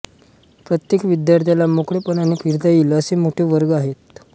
प्रत्येक विद्यार्थ्याला मोकळेपणाने फिरता येईल असे मोठे वर्ग आहेत